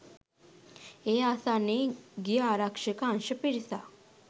ඒ ආසන්නයේ ගිය ආරක්ෂක අංශ පිරිසක්